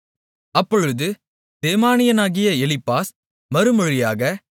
அப்பொழுது தேமானியனாகிய எலிப்பாஸ் மறுமொழியாக